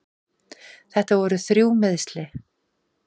Þetta voru þrjú meiðsli.